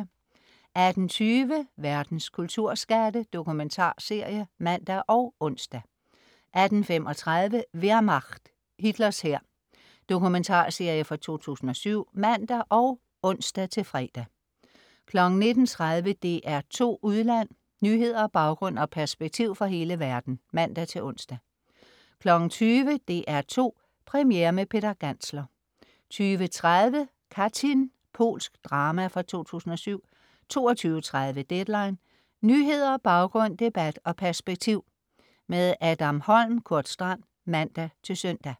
18.20 Verdens kulturskatte. Dokumentarserie (man og ons) 18.35 Wehrmacht. Hitlers hær. Dokumentarserie fra 2007 (man og ons-fre) 19.30 DR2 Udland. Nyheder, baggrund og perspektiv fra hele verden (man-ons) 20.00 DR2 Premiere med Peter Gantzler 20.30 Katyn. Polsk drama fra 2007 22.30 Deadline. Nyheder, baggrund, debat og perspektiv. Adam Holm/Kurt Strand (man-søn)